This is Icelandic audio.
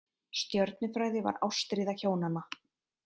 Stjörnufræði var ástríða hjónanna.